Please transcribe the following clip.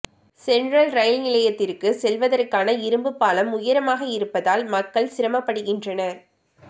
central rail நிலையத்திற்கு செல்வதற்கான இரும்பு பாலம் உயரமாக இருப்பதால் மக்கள் சிரமப்படுகின்றனர்